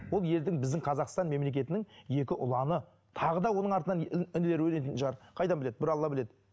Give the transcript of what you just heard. ол елдің біздің қазақстан мемлекетінің екі ұланы тағы да оның артынан інілер өнетін шығар қайдан біледі бір алла біледі